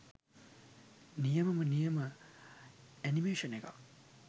නියමම නියම ඇනිමේශන් එකක්